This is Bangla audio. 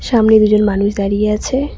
সামনে দুজন মানুষ দাড়িয়ে আছে।